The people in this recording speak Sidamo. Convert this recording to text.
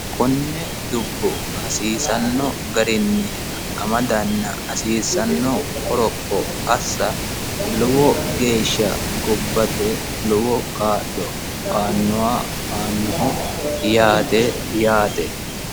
konne dubbo hasiisanno garinni amadanna hasiisanno garinni qoroppo assa lowo geeshsha gobbate kaa'lo aannoha yaate yaate